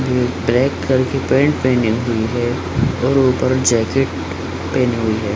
जो black colour की pant पहनी हुई है और ऊपर जैकेट पहनी हुई है ।